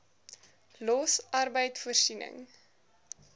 los arbeid voorsiening